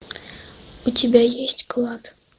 у тебя есть клад